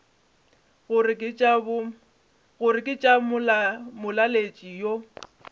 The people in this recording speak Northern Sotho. gore ke tša molaletši yo